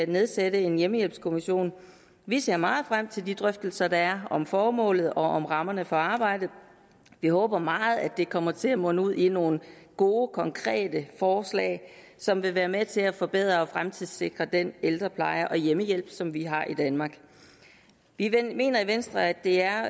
nedsætte en hjemmehjælpskommission vi ser meget frem til de drøftelser være om formålet og om rammerne for arbejdet vi håber meget at det kommer til at munde ud i nogle gode konkrete forslag som vil være med til at forbedre og fremtidssikre den ældrepleje og hjemmehjælp som vi har i danmark vi mener i venstre at det er